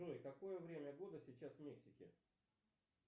джой какое время года сейчас в мексике